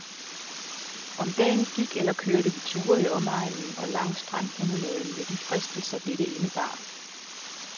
Om dagen gik eller kørte vi ture i omegnen og langs strandpromenaden med de fristelser, dette indebar.